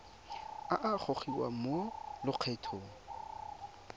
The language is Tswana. a a gogiwang mo lokgethong